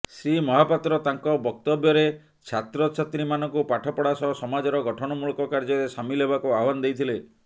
ଶ୍ରୀ ମହାପାତ୍ର ତାଙ୍କ ବକ୍ତବ୍ୟରେ ଛାତ୍ରଛାତ୍ରୀମାନଙ୍କୁ ପାଠପଢ଼ା ସହ ସମାଜର ଗଠନମୂଳକ କାର୍ଯ୍ୟରେ ସାମିଲ ହେବାକୁ ଆହ୍ବାନ ଦେଇଥିଲେ